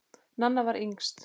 Nanna var yngst.